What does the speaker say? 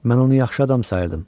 Mən onu yaxşı adam sayırdım.